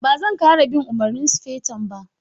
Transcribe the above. Ba zan ƙara bin umarnin sufeton ba.